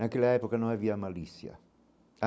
Naquela época não havia malícia.